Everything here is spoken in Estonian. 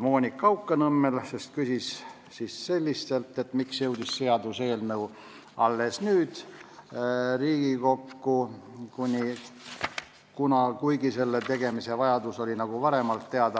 Monika Haukanõmmel, kes küsis, miks jõudis seaduseelnõu alles nüüd Riigikokku, kuigi selle tegemise vajadus oli varemalt teada.